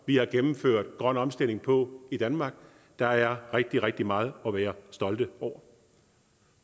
vi har gennemført grøn omstilling på i danmark der er rigtig rigtig meget at være stolt af når